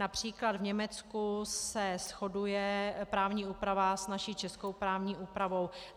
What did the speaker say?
Například v Německu se shoduje právní úprava s naší českou právní úpravou.